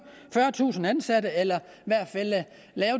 fyrretusind ansatte eller